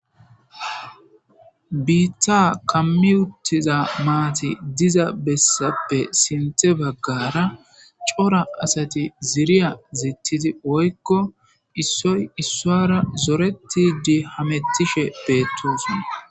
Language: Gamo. Biitta kammi uttiza maati diza bessappe sinthe baggara cora asati ziriya zittidi woykko issoy issoara zoretidi hamettishe beettosna.